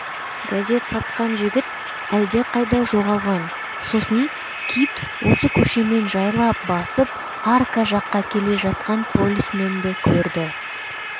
газет сатқан жігіт әлдеқайда жоғалған сосын кит осы көшемен жайлап басып арка жаққа келе жатқан полисменді көрді